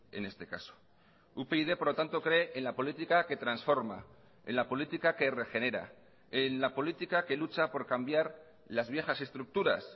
en este caso upyd por lo tanto cree en la política que transforma en la política que regenera en la política que lucha por cambiar las viejas estructuras